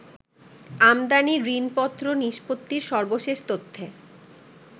আমদানি ঋণপত্র নিষ্পত্তির সর্বশেষ তথ্যে